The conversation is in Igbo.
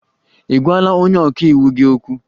Ị gwala onye ọka iwu gị okwu?